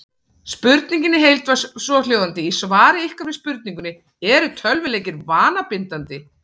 Spurningin í heild var svohljóðandi: Í svari ykkar við spurningunni Eru tölvuleikir vanabindandi?